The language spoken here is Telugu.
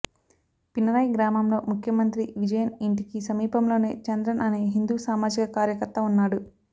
పినరాయ్ గ్రామంలో ముఖ్యమంత్రి విజయన్ ఇంటికి సమీపంలోనే చంద్రన్ అనే హిందూ సామాజిక కార్యకర్త ఉన్నాడు